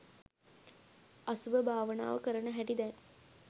අසුභ භාවනාව කරන හැටි දැන්